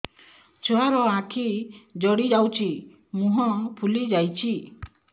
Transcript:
ଛୁଆର ଆଖି ଜଡ଼ି ଯାଉଛି ମୁହଁ ଫୁଲି ଯାଇଛି